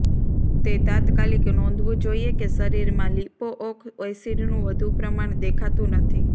તે તાત્કાલિક નોંધવું જોઈએ કે શરીરમાં લિપોઓક એસિડનું વધુ પડતું પ્રમાણ દેખાતું નથી